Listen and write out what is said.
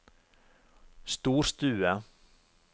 storstue